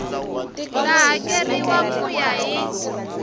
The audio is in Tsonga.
ta hakeriwa ku ya hi